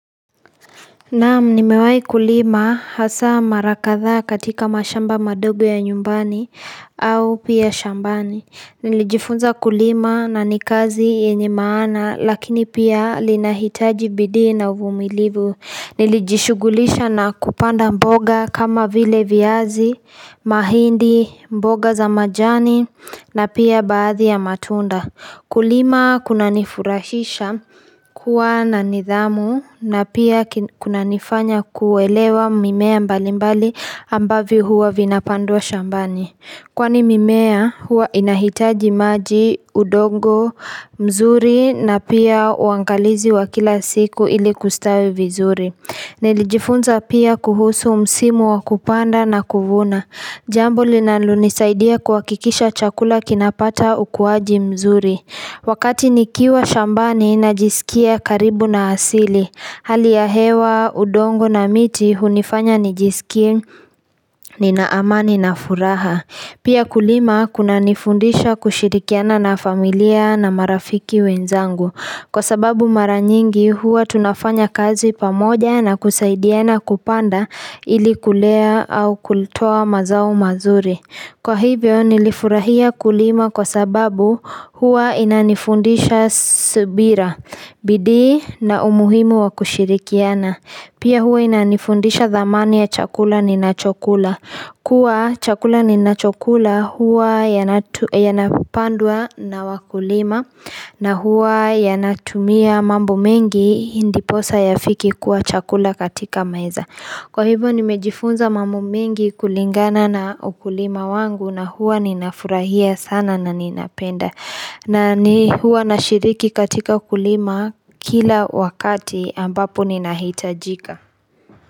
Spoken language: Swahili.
Naam nimewahi kulima hasa mara kadhaa katika mashamba madogo ya nyumbani au pia shambani Nilijifunza kulima na ni kazi yenye maana lakini pia inahitaji bidii na uvumilivu Nilijishughulisha na kupanda mboga kama vile viazi mahindi mboga za majani na pia baadhi ya matunda Kulima kuna nifurahisha kuwa na nidhamu na pia kunanifanya kuelewa mimea mbalimbali ambayo huwa inapandwa shambani. Kwani mimea huwa inahitaji maji, udongo, mzuri na pia uangalizi wa kila siku ili kustawi vizuri. Nilijifunza pia kuhusu msimu wa kupanda na kuvuna. Jambo linalo nisaidia kuhakikisha chakula kinapata ukuaji mzuri Wakati nikiwa shambani na jisikia karibu na asili Hali ya hewa, udongo na miti hunifanya nijisikie nina amani na furaha Pia kulima kuna nifundisha kushirikiana na familia na marafiki wenzangu Kwa sababu mara nyingi huwa tunafanya kazi pamoja na kusaidiana kupanda ili kulea au kutoa mazao mazuri kwa hivyo nilifurahia kulima kwa sababu huwa inanifundisha subira bidii na umuhimu wa kushirikiana pia huwa inanifundisha thamani ya chakula ninachokula kuwa chakula ninachokula huwa yanapandwa na wakulima na huwa yanatumia mambo mengi ndiposa ya fike kuwa chakula katika maiza Kwa hivyo nimejifunza mambo mengi kulingana na ukulima wangu na huwa ninafurahia sana na ninapenda. Na mi huwa na shiriki katika kulima kila wakati ambapo ninahitajika.